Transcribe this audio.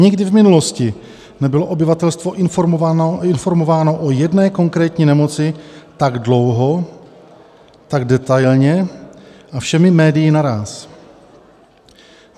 Nikdy v minulosti nebylo obyvatelstvo informováno o jedné konkrétní nemoci tak dlouho, tak detailně a všemi médii naráz.